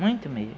Muito mesmo.